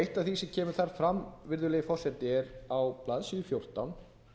eitt af því sem kemur þar fram virðulegi forseti er á blaðsíðu fjórtán